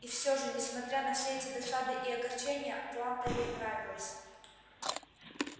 и все же несмотря на все эти досады и огорчения атланта ей нравилась